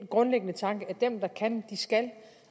grundlæggende tanke at dem der kan skal